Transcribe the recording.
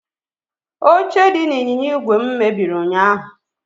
Oche dị n'ịnyịnya igwe m mebiri ụnyaahụ.